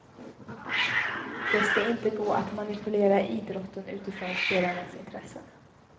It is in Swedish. Det ska inte gå att manipulera idrotten utifrån spelarnas intressen.